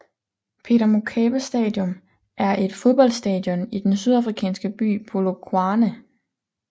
Peter Mokaba Stadium er et fodboldstadion i den sydafrikanske by Polokwane